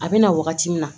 A bɛ na wagati min na